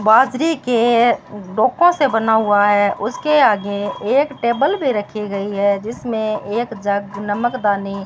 बाजरे के डोको से बना हुआ है उसके आगे एक टेबल भी रखी गई है जिसमें एक जग नमक दानी--